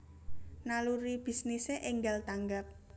Naluri bisnise enggal tanggap